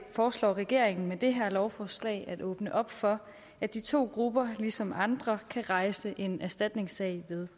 foreslår regeringen med det her lovforslag at åbne op for at de to grupper ligesom andre kan rejse en erstatningssag ved